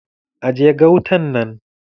Aje gautan nan!